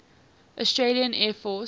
australian air force